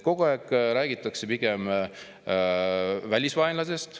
Kogu aeg räägitakse pigem välisvaenlasest.